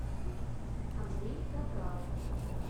андрей капрал